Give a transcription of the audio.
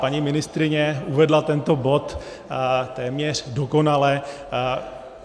Paní ministryně uvedla tento bod téměř dokonale.